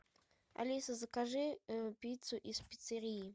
алиса закажи пиццу из пиццерии